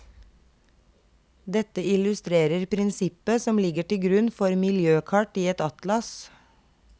Dette illustrerer prinsippet som ligger til grunn for miljøkart i et atlas.